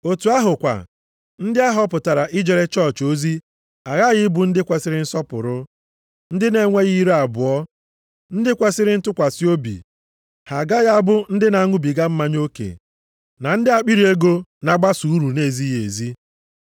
Otu ahụ kwa, ndị a họpụtara ijere chọọchị ozi aghaghị ịbụ ndị kwesiri nsọpụrụ, ndị na-enweghị ire abụọ, + 3:8 Ndị na-adịghị agha ụgha maọbụ ekwu okwu aghụghọ. ndị kwesiri ntụkwasị obi. Ha agaghị abụ ndị na-aṅụbiga mmanya oke na ndị akpịrị ego na-agbaso uru nʼezighị ezi.